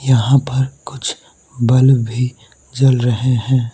यहां पर कुछ बल्ब भी जल रहे हैं।